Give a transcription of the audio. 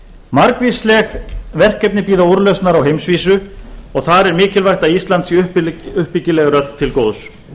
margvísleg verkefni bíða úrlausnar á heimsvísu og þar er mikilvægt að ísland sé uppbyggilega til góðs